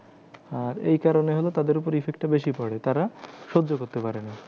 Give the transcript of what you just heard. আর এই কারণে হলো তাদের উপরে effect টা বেশি পরে তারা সহ্য করতে পারে না।